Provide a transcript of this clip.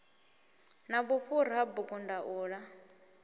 na vhufhura ha bugu ndaula